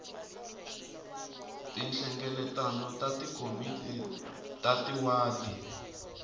tinhlengeletano ta tikomiti ta tiwadi